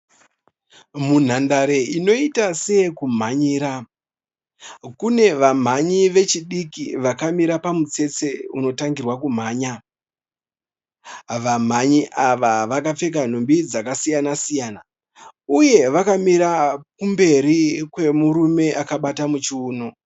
Munhandare inoita seyekumhanyira. Kune vamhanyi vechidiki vakamira pamutstsetse unotangirwa kumhanya. Vamhanyi ava vakapfeka nhumbi dzakasiyana siyana uye vakamira kumberi kwemurume akabata muchiono.